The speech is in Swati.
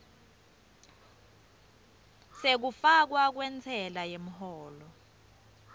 sekufakwa kwentsela yemholo